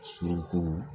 Suruku